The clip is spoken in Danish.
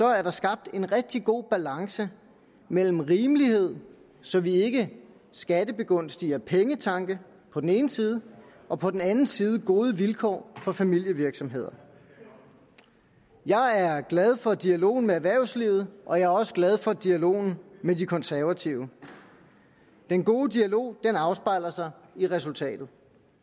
er der skabt en rigtig god balance mellem rimelighed så vi ikke skattebegunstiger pengetanke på den ene side og på den anden side gode vilkår for familievirksomheder jeg er glad for dialogen med erhvervslivet og jeg er også glad for dialogen med de konservative den gode dialog afspejler sig i resultatet